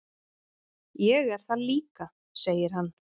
"""Ég er það líka, segir hann."""